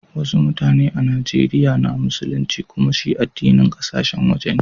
Wassu mutane a'Nijeriya na musulinci, kumma shi addinin kasashen waje ne.